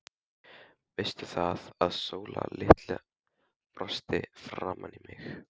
Veistu það, að hún Sóla litla brosti framan í mig.